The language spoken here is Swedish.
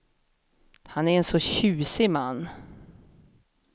Han är en så tjusig man.